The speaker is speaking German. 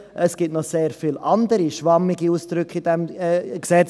Es gibt noch sehr viele andere schwammige Ausdrücke in diesem Gesetz.